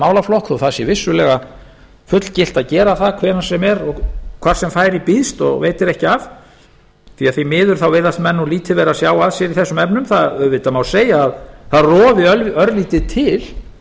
málaflokk þó það sé vissulega fullgilt að gera það hvenær sem er og hvar sem færi býðst og veitir ekki af því miður virðast menn nú lítið vera að sjá að sér í þessum efnum það auðvitað má segja að það rofi örlítið til